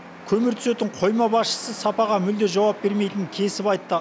көмір түсетін қойма басшысы сапаға мүлде жауап бермейтінін кесіп айтты